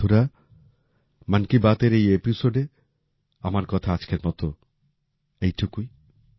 বন্ধুরা মন কি বাতের এই এপিসোডে আমার কথা আজকের মত এইটুকুই